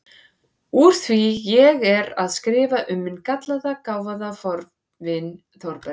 Úr því ég er að skrifa um minn gallaða, gáfaða fornvin Þórberg